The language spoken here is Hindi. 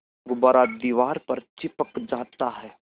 गुब्बारा दीवार पर चिपक जाता है